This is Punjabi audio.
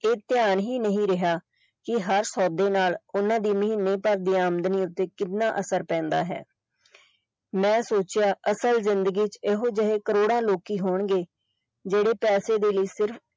ਇਹ ਧਿਆਨ ਹੀ ਨਹੀਂ ਰਿਹਾ ਕਿ ਹਰ ਸੌਦੇ ਨਾਲ ਓਹਨਾ ਦੀ ਮਹੀਨੇ ਭਰ ਦੀ ਆਮਦਨ ਉੱਤੇ ਕਿੰਨਾ ਅਸਰ ਪੈਂਦਾ ਹੈ ਮੈਂ ਸੋਚਿਆ ਅਸਲ ਜ਼ਿੰਦਗੀ ਚ ਇਹੋ ਜਿਹੇ ਕਰੋੜਾਂ ਲੋਕੀ ਹੋਣਗੇ ਜਿਹੜੇ ਪੈਸੇ ਦੇ ਲਈ ਸਿਰਫ।